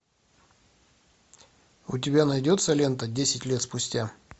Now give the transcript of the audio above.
у тебя найдется лента десять лет спустя